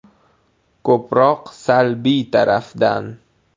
Ko‘proq salbiy tarafdan.